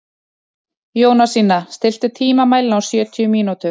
Jónasína, stilltu tímamælinn á sjötíu mínútur.